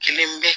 Kelen bɛ